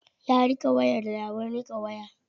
Ya riƙe wayar da abin riƙe waya.